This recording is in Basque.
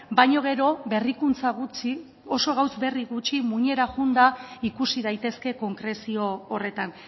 baina gero berrikuntza gutxi oso gauza berri gutxi muinera joanda ikusi daitezke konkrezio horretan